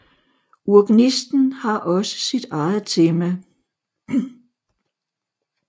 Urgnisten har også sit eget tema